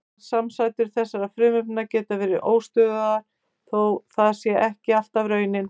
Aðrar samsætur þessara frumefna geta verið óstöðugar þó það sé ekki alltaf raunin.